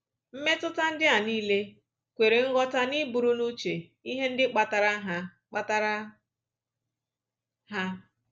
Mmetụta ndị a nile kwere nghọta n’iburu n’uche ihe ndị kpatara ha kpatara ha